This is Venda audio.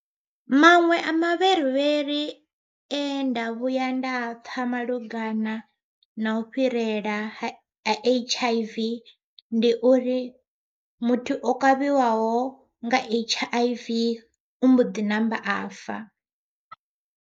Maṅwe a mavherivheri enda vhuya nda a pfha malugana na u fhirela ha H_I_V ndi uri muthu o kavhiwaho nga H_I_V u mboḓi namba a fa.